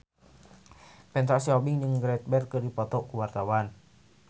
Petra Sihombing jeung Gareth Bale keur dipoto ku wartawan